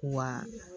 Wa